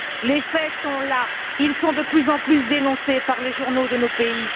Les faits sont là, ils sont de plus en plus dénoncés par les journaux de nos pays.